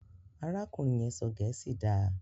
arákùnrin yén sọ gèésì dá.